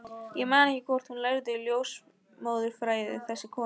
Ég man ekki hvort hún lærði ljósmóðurfræði, þessi kona.